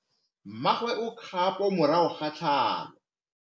Mmagwe o kgapô morago ga tlhalô.